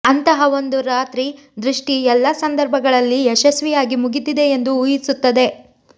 ಅಂತಹ ಒಂದು ರಾತ್ರಿ ದೃಷ್ಟಿ ಎಲ್ಲಾ ಸಂದರ್ಭಗಳಲ್ಲಿ ಯಶಸ್ವಿಯಾಗಿ ಮುಗಿದಿದೆ ಎಂದು ಊಹಿಸುತ್ತದೆ